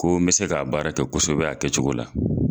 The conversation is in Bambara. Ko n bɛ se ka baara kɛ kosɛbɛ a kɛcogo la.